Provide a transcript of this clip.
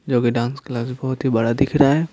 जो कि dance class बहुत ही बड़ा दिख रहा है।